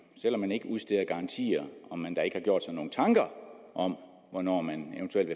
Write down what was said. selv om man ikke udsteder garantier har gjort sig nogen tanker om hvornår man eventuelt